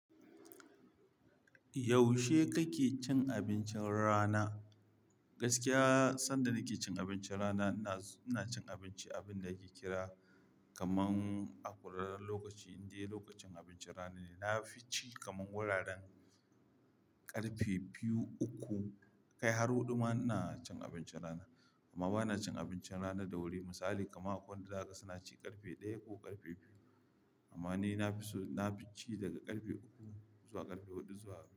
Yaushe kake cin abincin rana? Gaskiya sanda nake cin abincin rana, ina cin abinci abin da ake kira kaman a kwararren lokaci indai lokacin abincin rana ne. Na fi ci kamar wuraren ƙarfe biyu uku kai har huɗu ma ina cin abincin rana. Amma ba na cin abincin rana da wuri. Misali kuma akwai wanda haka suna ci ƙarfe ɗaya ko ƙarfe biyu. Amma ni na fi so, na fi ci daga ƙarfe uku zuwa ƙarfe huɗu zuwa.